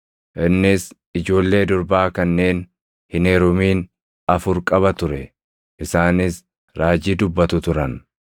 Innis ijoollee durbaa kanneen hin heerumin afur qaba ture; isaanis raajii dubbatu turan.